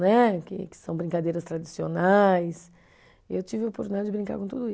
que que são brincadeiras tradicionais. E Eu tive a oportunidade de brincar com tudo